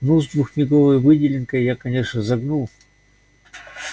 ну с двухмеговой выделенкой я конечно загнул